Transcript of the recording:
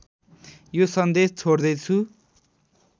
यो सन्देश छोड्दैछु